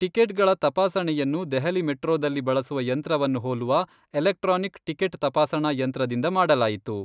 ಟಿಕೆಟ್ಗಳ ತಪಾಸಣೆಯನ್ನು ದೆಹಲಿ ಮೆಟ್ರೋದಲ್ಲಿ ಬಳಸುವ ಯಂತ್ರವನ್ನು ಹೋಲುವ ಎಲೆಕ್ಟ್ರಾನಿಕ್ ಟಿಕೆಟ್ ತಪಾಸಣಾ ಯಂತ್ರದಿಂದ ಮಾಡಲಾಯಿತು.